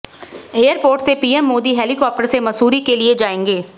airport से PM Modi helicopter से मसूरी के लिए जाएंगे